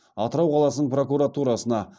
атырау қаласының прокуратурасына